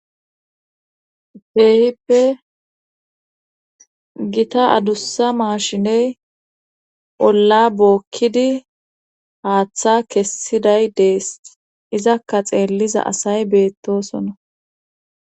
Keehippe gita adussa maashiney olla bookkidi haaththa kessiday dees izakka xeelliza asay beettosona.